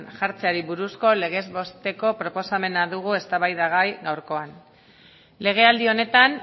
jartzeari buruzko legez besteko proposamena dugu eztabaidagai gaurkoan legealdi honetan